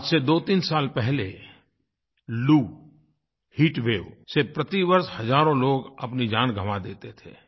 आज से दोतीन साल पहले लू हीट वेव से प्रतिवर्ष हजारों लोग अपनी जान गवाँ देते थे